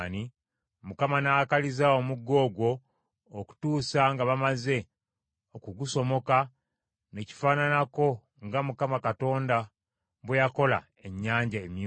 Mukama n’akaliza omugga ogwo okutuusa nga bamaze okugusomoka ne kifaananako nga Mukama Katonda bwe yakola Ennyanja Emyufu.’